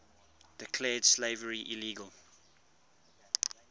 declared slavery illegal